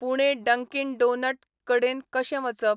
Pune Dunkin donut कडेन कशे वचप ?